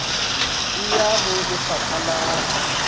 e ya ho lefapha la